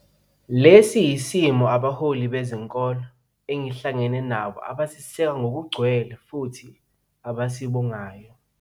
Lesi yisimiso abaholi be zenkolo engihlangene nabo abaseseka ngokugcwele futhi abasibongayo.